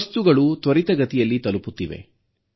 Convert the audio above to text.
ವಸ್ತುಗಳು ತ್ವರಿತಗತಿಯಲ್ಲಿ ತಲುಪುತ್ತಿವೆ